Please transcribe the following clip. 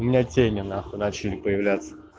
у меня тени нахуй начали появляться